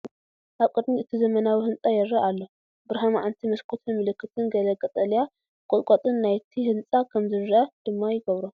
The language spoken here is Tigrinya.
ኣብ ቅድሚት እቲ ዘመናዊ ህንጻ ይርአ ኣሎ። ብርሃን መዓልቲ መስኮትን ምልክትን ገለ ቀጠልያ ቁጥቋጥን ናይቲ ህንጻ ከም ዝረአ ድማ ይገብሮ።